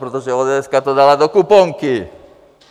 Protože ODS to dala do kuponky.